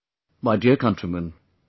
My dear countrymen,